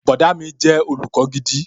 Bọ̀dá mi jẹ́ olùkọ́ gidi